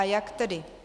A jak tedy?